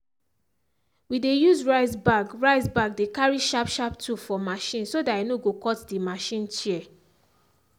we dey use rice bag rice bag dey carry sharp sharp tool for machine so that e no go cut the machine chair.